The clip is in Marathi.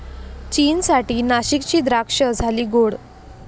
चीनसाठी नाशिकची द्राक्षं झाली गोड!